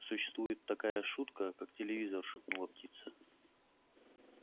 существует такая шутка как телевизор шепнула птица